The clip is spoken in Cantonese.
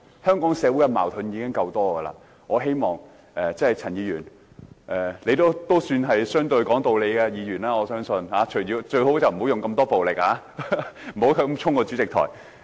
香港社會的矛盾已經夠多，我相信陳議員也是相對講道理的議員，最好不要使用這麼多暴力，不要衝往主席台。